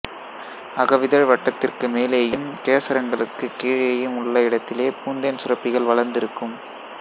அகவிதழ் வட்டத்திற்கு மேலேயும் கேசரங்களுக்குக் கீழேயும் உள்ள இடத்திலே பூந்தேன் சுரப்பிகள் வளர்ந்திருக்கும்